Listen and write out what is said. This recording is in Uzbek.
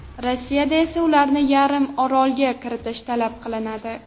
Rossiyadan esa ularni yarim orolga kiritish talab qilinadi.